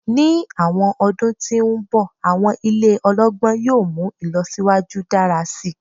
Ni awọn ọdun ti n bọ awọn ile ọlọgbọn yoo mu ilọsiwaju dara si